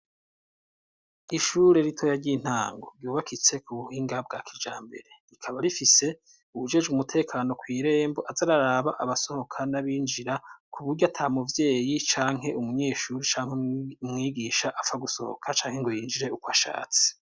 Ishure ritoya ry'intango ryubakitse k'ubuhinga bwakijambere rikaba rifise uwujeje umutekano kw'irembo aza araraba abasohoka n'abinjira k'uburyo atamuvyeyi canke umunyeshuri canke umwigisha apfa gusohoka canke ngo yinjire uko ashatse.